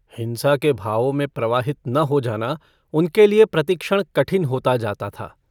हिंसा के भावों में प्रवाहित न हो जाना उनके लिए प्रतिक्षण कठिन होता जाता था।